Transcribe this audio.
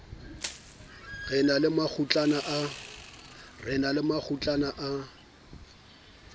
re na le makgutlana a